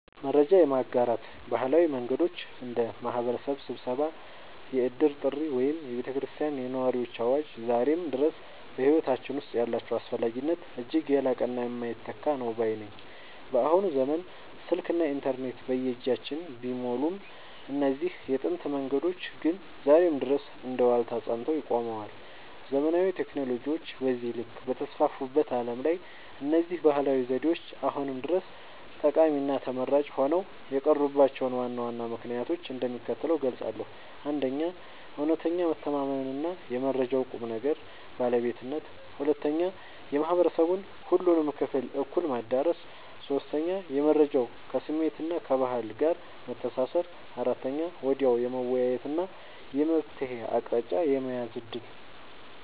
መረጃ የማጋራት ባህላዊ መንገዶች (እንደ ማኅበረሰብ ስብሰባ፣ የዕድር ጥሪ ወይም የቤተ ክርስቲያንና የነዋሪዎች አዋጅ) ዛሬም ድረስ በሕይወታችን ውስጥ ያላቸው አስፈላጊነት እጅግ የላቀና የማይተካ ነው ባይ ነኝ። በአሁኑ ዘመን ስልክና ኢንተርኔት በየእጃችን ቢሞሉም፣ እነዚህ የጥንት መንገዶች ግን ዛሬም ድረስ እንደ ዋልታ ጸንተው ቆመዋል። ዘመናዊ ቴክኖሎጂዎች በዚህ ልክ በተስፋፉበት ዓለም ላይ፣ እነዚህ ባህላዊ ዘዴዎች አሁንም ድረስ ጠቃሚና ተመራጭ ሆነው የቀሩባቸውን ዋና ዋና ምክንያቶች እንደሚከተለው እገልጻለሁ፦ 1. እውነተኛ መተማመንና የመረጃው ቁም ነገር (ባለቤትነት) 2. የማኅበረሰቡን ሁሉንም ክፍል እኩል ማዳረሱ 3. የመረጃው ከስሜትና ከባህል ጋር መተሳሰር 4. ወዲያውኑ የመወያየትና የመፍትሔ አቅጣጫ የመያዝ ዕድል